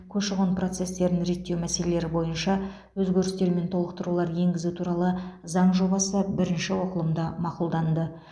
көші қон процестерін реттеу мәселелері бойынша өзгерістер мен толықтырулар енгізу туралы заң жобасы бірінші оқылымда мақұлданды